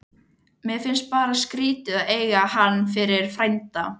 Mér fannst bara skrítið að eiga hann fyrir frænda.